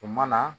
O mana